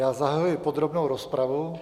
Já zahajuji podrobnou rozpravu.